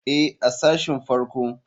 Ee, a sashin farko.